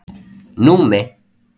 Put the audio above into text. Númi